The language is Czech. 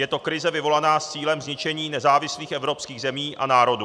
Je to krize vyvolaná s cílem zničení nezávislých evropských zemí a národů.